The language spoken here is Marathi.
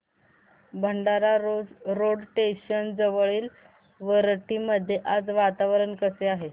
भंडारा रोड स्टेशन जवळील वरठी मध्ये आज वातावरण कसे आहे